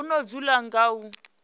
o no dzula nga u